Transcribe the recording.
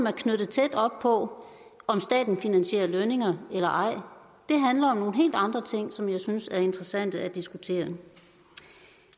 er knyttet tæt op på om staten finansierer lønninger eller ej det handler om nogle helt andre ting som jeg synes er interessante at diskutere